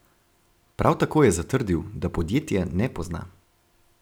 Prav tako je zatrdil, da podjetja ne pozna.